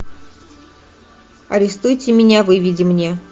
арестуйте меня выведи мне